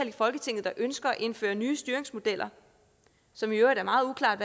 i folketinget ønsker at indføre nye styringsmodeller som i øvrigt er meget uklart